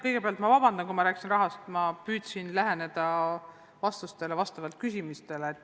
Kõigepealt palun vabandust, aga kui ma rääkisin rahast, siis püüdsin vastata vastavalt küsimustele.